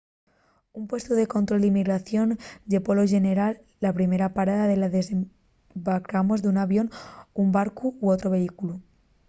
un puestu de control d’inmigración ye polo xeneral la primera parada de la que desembarcamos d’un avión un barcu o otru vehículu